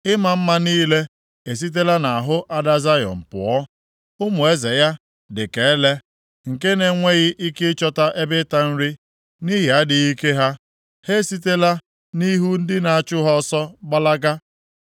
Ịma mma niile esitela nʼahụ ada Zayọn pụọ. Ụmụ eze ya dị ka ele nke na-enweghị ike ịchọta ebe ịta nri. Nʼihi adịghị ike ha, ha esitela nʼihu ndị na-achụ ha ọsọ gbalaga.